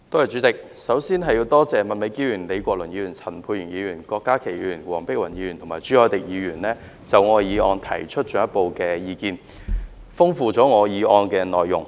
主席，我首先感謝麥美娟議員、李國麟議員、陳沛然議員、郭家麒議員、黃碧雲議員及朱凱廸議員就我的原議案提出進一步的意見，豐富了我議案的內容。